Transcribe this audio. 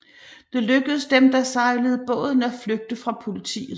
Det lykkedes dem der sejlede båden af flygte fra politiet